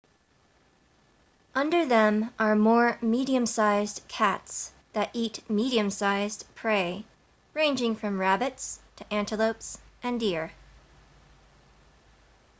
under them are more medium sized cats that eat medium sized prey ranging from rabbits to antelopes and deer